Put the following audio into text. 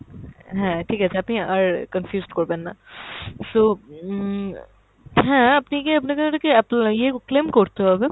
হ্যাঁ ঠিক আছে আপনি আর confused করবেন না। so উম হ্যাঁ আপনি কি আপনাকে ওটাকে apply এ claim করতে হবে।